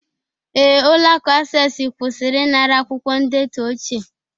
Ee, ụlọ akụ Acesi kwụsịrị ịnara akwụkwọ ndetu ochie